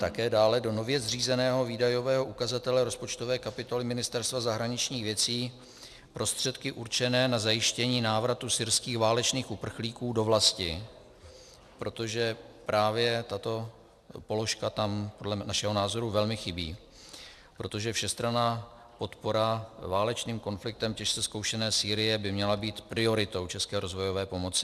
Také dále do nově zřízeného výdajového ukazatele rozpočtové kapitoly Ministerstva zahraničních věcí prostředky určené na zajištění návratu syrských válečných uprchlíků do vlasti, protože právě tato položka tam podle našeho názoru velmi chybí, protože všestranná podpora válečným konfliktem těžce zkoušené Sýrie by měla být prioritou české rozvojové pomoci.